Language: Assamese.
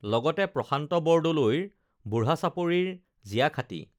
লগতে প্ৰশান্ত বৰদলৈৰ বুঢ়া চাপৰিৰ জিয়াখাঁতী